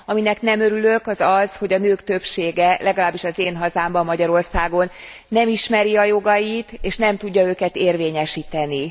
Aminek nem örülök, az az, hogy a nők többsége, legalábbis az én hazámban, Magyarországon, nem ismeri a jogait és nem tudja őket érvényesíteni.